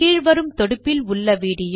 கீழ் வரும் தொடுப்பில் விடியோவை காணவும்